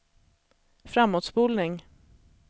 framåtspolning